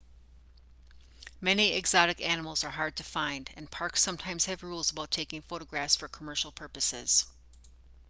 many exotic animals are hard to find and parks sometimes have rules about taking photographs for commercial purposes